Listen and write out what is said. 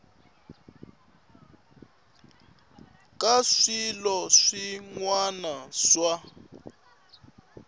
ka swilo swin wana swa